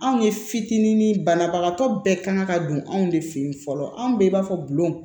Anw ye fitinin banabagatɔ bɛɛ kan ka don anw de fe yen fɔlɔ anw bɛɛ b'a fɔ bulon